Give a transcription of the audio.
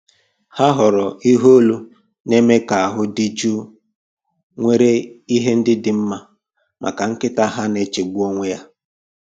Ha họọrọ ihe olu na-eme ka ahụ dị jụụ nwere ihe ndị dị mma maka nkịta ha na-echegbu onwe ya